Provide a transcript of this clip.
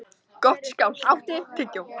Gottskálk, áttu tyggjó?